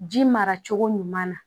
Ji mara cogo ɲuman na